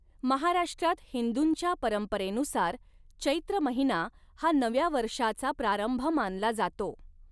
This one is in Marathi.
महाराष्ट्रात हिंदूंच्या परंपरेनुसार चैत्र महिना हा नव्या वर्षाचा प्रारंभ मानला जातो.